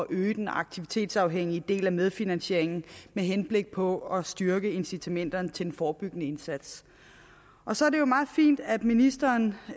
øge den aktivitetsafhængige del af medfinansieringen med henblik på at styrke incitamenterne til den forebyggende indsats så er det jo meget fint at ministeren